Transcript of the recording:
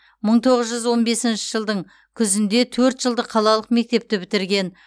мың тоғыз жүз он бесінші жылдың күзінде төрт жылдық қалалық мектепті бітірген